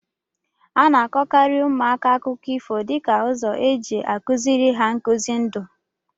A na-akọkarị ụmụaka akụkọ ifo dịka ụzọ eji a kụziri ha nkuzi ndụ.